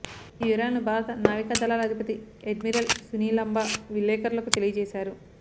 ఈ వివరాలను భారత నావికా దళాల అధిపతి అడ్మిరల్ సునీల్లంబా విలేకరులకు తెలియజేశారు